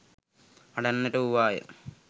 හඬන්නට වූවාය.